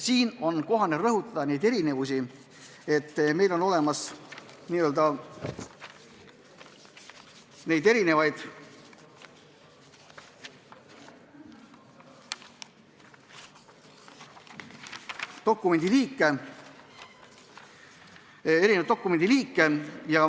Siin on kohane rõhutada neid erinevusi, seda, et meil on erinevaid dokumendiliike.